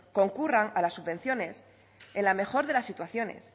concurran a las subvenciones en la mejor de las situaciones